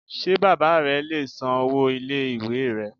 Ṣé bàbá re le è san owó ilé ìwé rẹ